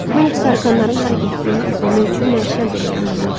Mən heç tarakanların hara getdiyini izləmək üçün məşəl belə yandırmıram.